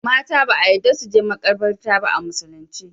Mata ba a yadda suje makabarta ba a musulin ce